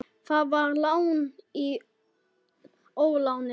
Það var lán í óláni.